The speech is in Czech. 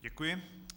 Děkuji.